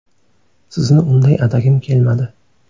Sizni unday atagim kelmadi.